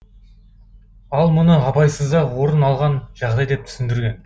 ал мұны абайсызда орын алған жағдай деп түсіндірген